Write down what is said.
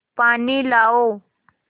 पानी लाओ